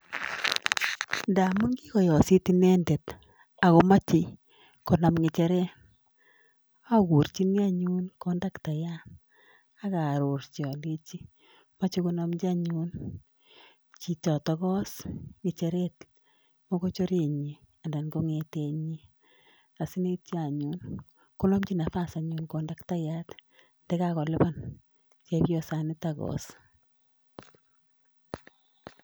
Ndamun kigoyosit inendet agomoche konam ng'echeret, agurchini anyun kondaktayat ak aarorji alenchi moche konomch anyun chichito yoos ng'echeret mochogorenyin anan ko ng'etenyin asikityo anyun konamchi nafas anyun kondaktayat nekagolipan chepyosanito yoos.